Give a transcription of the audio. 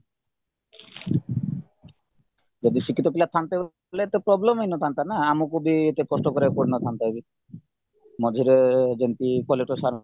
ଯଦି ଶିକ୍ଷିତ ପିଲା ଥାନ୍ତେ ବୋଲେ problem ହେଇନଥାନ୍ତାନା ଆମକୁବି ଏତେ କଷ୍ଟ କରିବାକୁ ପଡ଼ିନଥାନ୍ତାବି ମଝିରେ ଯେମିତି collector sir